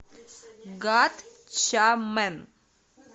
гатчамен